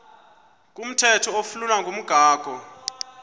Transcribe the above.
komthetho oflunwa ngumgago